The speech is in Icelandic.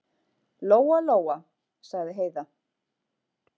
Lóa-Lóa, sagði Heiða.